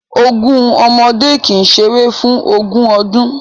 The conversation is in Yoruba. Ogun ọmọdé kì í ṣeré fún ogún ọdún